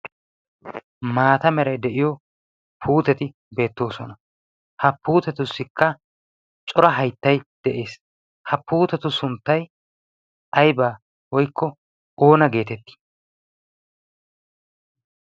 maata meray de'iyo puuteti beettoosona ha puutetussikka cora hayttay de'ees ha puutetu sunttay aybaa woykko oona geetettii